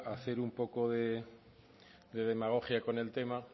hacer un poco de demagogia con el tema